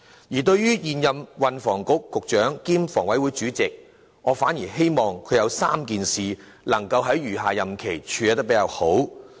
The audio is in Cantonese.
而對於現任運輸及房屋局局長兼房委會主席，我反而希望他能夠在餘下任期妥善處理3件事。